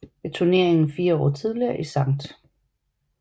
Ved turneringen fire år tidligere i St